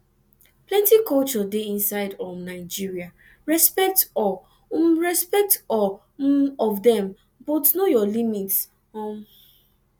plenty culture de inside um nigeria respect all um respect all um of dem but know your limits um